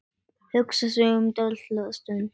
Hugsar sig um dálitla stund.